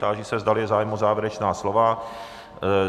Táži se, zdali je zájem o závěrečná slova.